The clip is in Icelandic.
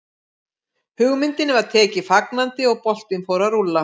Hugmyndinni var tekið fagnandi og boltinn fór að rúlla.